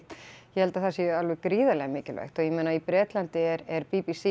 ég held að það sé alveg gríðarlega mikilvægt og ég meina í Bretlandi er b b c